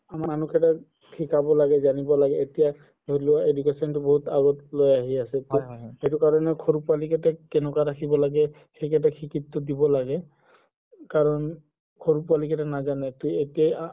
শিকাব লাগে জানিব লাগে এতিয়া ধৰি লোৱা education তো বহুত আগত লৈ আহি আছে এইটো কাৰণেও সৰু পোৱালি কেইটাক কেনেকে ৰাখিব লাগে সেইকেইটাক দিব লাগে কাৰণ সৰু পোৱালি কেইটা নাজানে কি